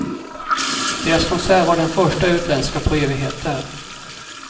Deras konsert var den första utländska på evigheter.